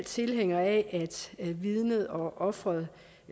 tilhængere af at vidnet og offeret